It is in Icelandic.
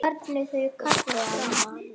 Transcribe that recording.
Og hvar var ég?